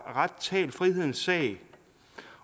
ret talt frihedens sag